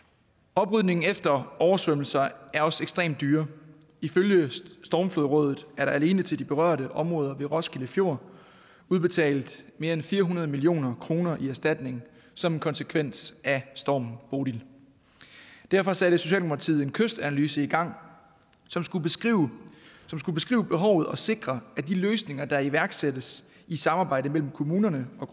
oprydningen efter oversvømmelser er også ekstremt dyre ifølge stormrådet er der alene til de berørte områder ved roskilde fjord udbetalt mere end fire hundrede million kroner i erstatning som en konsekvens af stormen bodil derfor satte socialdemokratiet en kystanalyse i gang som skulle beskrive behovet og sikre at de løsninger der iværksættes i samarbejdet mellem kommunerne og